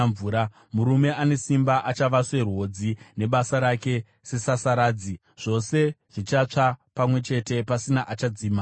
Murume ane simba achava serwodzi nebasa rake sesasaradzi; zvose zvichatsva pamwe chete, pasina achadzima moto.”